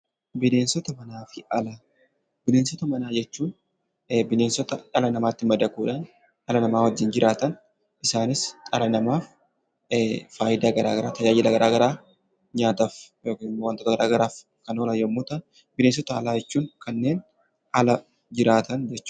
Bineensota manaa fi alaa. Bineensota manaa jechuun bineensota dhala namaatti madaquudhaan dhala namaa wajjin jiraatan isaanis dhala namaaf faayidaa garagaraa, tajaajila garagaraa nyaataf yokan immoo wantota garaa garaaf kan oolan yommuu ta'an bineensota alaa jechuun kanneen ala jiraatan jechuudha.